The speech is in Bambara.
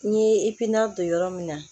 N ye don yɔrɔ min na